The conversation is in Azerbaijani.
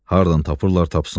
Hardan tapırlar tapsınlar.